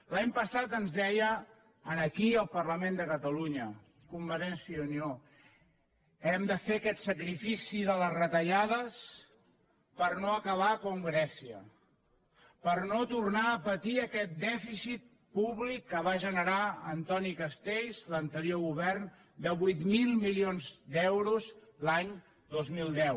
l’any passat ens deia aquí al parlament de catalunya convergència i unió hem de fer aquest sacrifici de les retallades per no acabar com grècia per no tornar a patir aquest dèficit públic que va generar antoni castells l’anterior govern de vuit mil milions d’euros l’any dos mil deu